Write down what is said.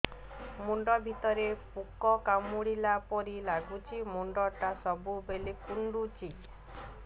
ମୁଣ୍ଡ ଭିତରେ ପୁକ କାମୁଡ଼ିଲା ପରି ଲାଗୁଛି ମୁଣ୍ଡ ଟା ସବୁବେଳେ କୁଣ୍ଡୁଚି